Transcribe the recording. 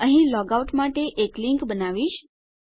અહીં હું log out માટે એક લીંક બનાવીશ